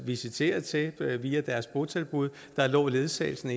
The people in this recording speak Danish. visiteret til via deres botilbud ledsagelsen